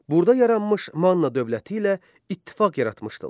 Burda yaranmış Manna dövləti ilə ittifaq yaratmışdılar.